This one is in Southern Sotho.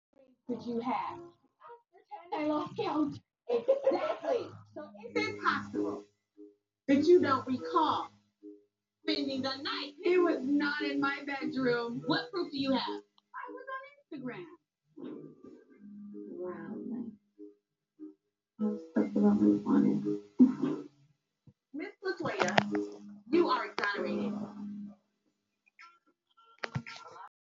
Ha eba wena jwalo ka sehwai ho ba teng ho hong ho fosahetseng masimong a hao, ho ka o sitisang tabeng ya ho lefella sekoloto sa hao, tlaleha taba ena hanghang ho ba adimisanang ka tjhelete.